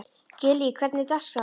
Gillý, hvernig er dagskráin?